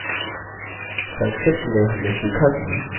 संक्षिप्त में हमने सीखा कि: